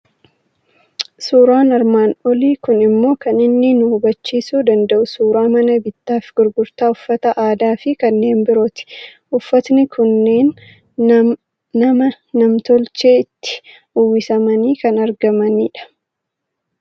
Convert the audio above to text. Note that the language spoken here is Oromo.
Suuraan armaan olii kun immoo kan inni nu hubachiisuu danda'u suuraa mana bittaa fi gurgurtaa uffata aadaa fi kanneen birooti. Uffatni kunneen nama nam tolchee itti uwwisamanii kan argamani dha.